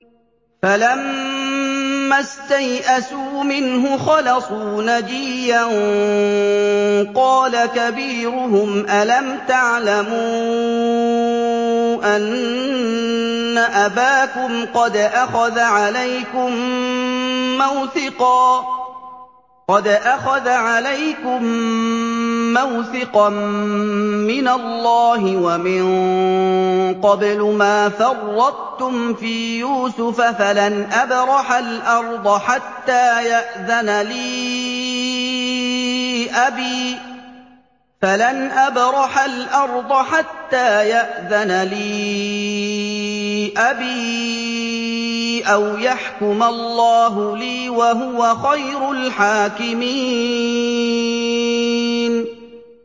فَلَمَّا اسْتَيْأَسُوا مِنْهُ خَلَصُوا نَجِيًّا ۖ قَالَ كَبِيرُهُمْ أَلَمْ تَعْلَمُوا أَنَّ أَبَاكُمْ قَدْ أَخَذَ عَلَيْكُم مَّوْثِقًا مِّنَ اللَّهِ وَمِن قَبْلُ مَا فَرَّطتُمْ فِي يُوسُفَ ۖ فَلَنْ أَبْرَحَ الْأَرْضَ حَتَّىٰ يَأْذَنَ لِي أَبِي أَوْ يَحْكُمَ اللَّهُ لِي ۖ وَهُوَ خَيْرُ الْحَاكِمِينَ